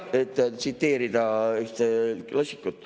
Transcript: Et tsiteerida ühte klassikut.